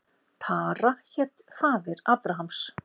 Tara hét faðir Abrahams.